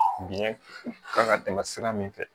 Biɲɛ kan ka tɛmɛ sira min fɛ